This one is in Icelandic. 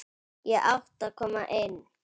Ég átti að koma inn!